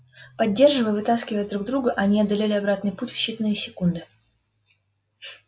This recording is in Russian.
поддерживая и вытаскивая друг друга они одолели обратный путь в считанные секунды